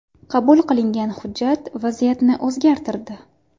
Qabul qilingan hujjat vaziyatni o‘zgartirdi.